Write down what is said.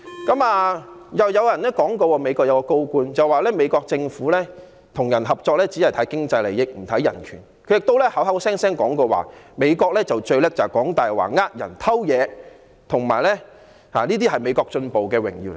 另外，又有一位美國高官說，美國政府與人合作只看經濟利益，不看人權，他亦口口聲聲說美國最擅長說謊、騙人、偷東西，而且這些是美國進步的榮耀等。